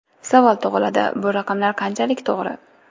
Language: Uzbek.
Savol tug‘iladi: bu raqamlar qanchalik to‘g‘ri?